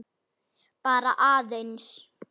Bara aðeins.